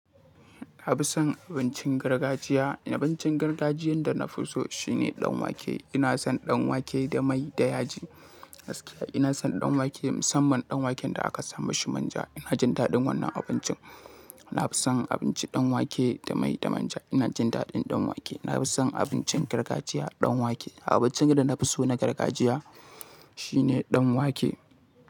Na fi son abincin gargajiya. Abincin gargajiyan da na fi so shine danwake. Ina son danwake da mai da yaji. Gaskiya ina son danwake, musamman danwaken da aka sa mashi manja. Ina jin daɗin wannan abincin. Na fi son abinci danwake da mai da manja. Ina jin daɗin danwake. Na fi son abincin gargajiya danwake. Abincin da na fi so na gargajiya shine danwake.